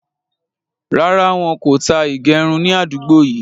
Rárá, wọn kò tá ìgérun ni àdúgbò yìí